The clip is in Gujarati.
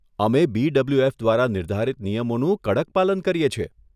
અમે બીડબલ્યુએફ દ્વારા નિર્ધારિત નિયમોનું કડક પાલન કરીએ છીએ.